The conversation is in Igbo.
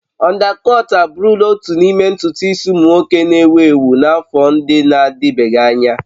Ọndakọt abụrụla otu n'ime ntutu isi ụmụ nwoke na-ewu ewu n'afọ ndị na-adịbeghị anya.